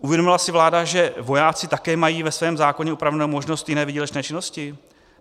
Uvědomila si vláda, že vojáci také mají ve svém zákoně upravenou možnost jiné výdělečné činnosti?